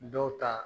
Dɔw ta